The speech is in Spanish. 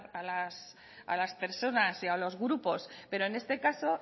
a las personas y a los grupos pero en este caso